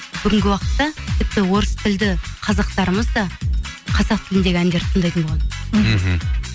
бүгінгі уақыттта тіпті орыс тілді қазақтарымыз да қазақ тіліндегі әндерді тыңдайтын болған мхм